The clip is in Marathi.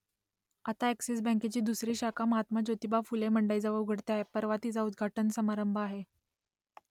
आता अ‍ॅक्सिस बँकेची दुसरी शाखा महात्मा ज्योतिबा फुले मंडईजवळ उघडते आहे परवा तिचा उद्घाटन समारंभ आहे